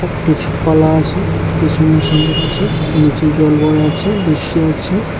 কিছু কলা আছে কিছু মৌসম্বি আছে নীচে জল ভরা আছে বৃষ্টি হয়েছে।